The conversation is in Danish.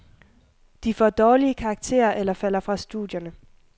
De får dårlige karakterer eller falder fra studierne.